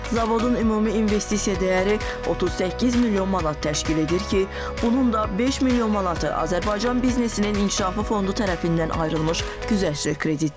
Zavodun ümumi investisiya dəyəri 38 milyon manat təşkil edir ki, bunun da 5 milyon manatı Azərbaycan biznesinin inkişafı fondu tərəfindən ayrılmış güzəştli kreditdir.